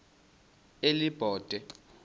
elibode